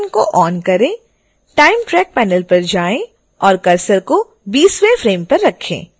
time track panel पर जाएँ और cursor को 20